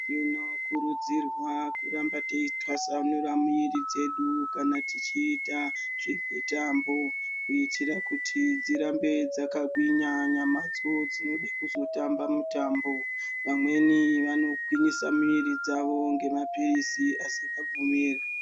Tinokurudzirwa kuramba teitwasanura miri dzedu kana tichiita zvemitambo kuitira kuti dzirambe dzakagwinya nyamadzo dzinode kuzotamba mitambo. Vamweni vanogwinyisa miri dzavo ngemamaphirizi asingabvumirwi.